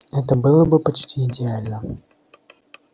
это было бы почти идеально